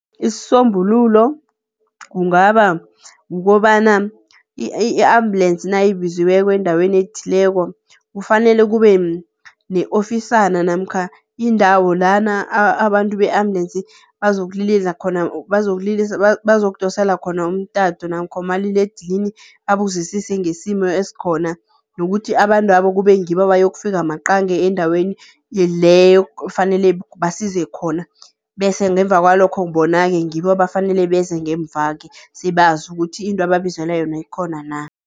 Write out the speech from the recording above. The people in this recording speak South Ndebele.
Isombululo kungaba kukobana i-ambulensi nayibizweko endaweni ethileko, kufanele kube ne-ofisana namkha indawo lana abantu be-ambulensi bazokudosela khona umtato namkha umaliledinini babuzisise ngesimo esikhona, nokuthi abantwabo kube ngibo abayokufika maqange endaweni leyo ekufanele basize khona, bese ngemva kwalokho bona-ke ngibo bafanele beze ngemvake sebazi ukuthi into ababizelwe yona ikhona na.